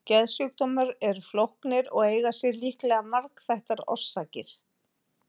Geðsjúkdómar eru flóknir og eiga sér líklega margþættar orsakir.